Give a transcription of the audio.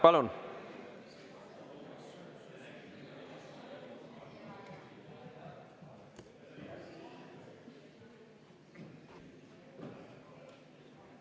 Palun!